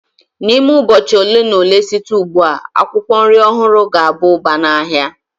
N'ime ụbọchị ole na ole site ugbu a, akwụkwọ nri ọhụrụ ga-aba ụba n'ahịa.